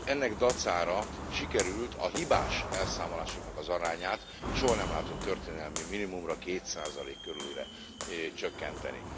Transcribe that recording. Ennek dacára sikerült a hibás elszámolásoknak az arányát soha nem látott történelmi minimumra, 2 körülire csökkenteni.